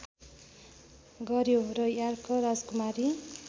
गर्‍यो र यार्क राजकुमारी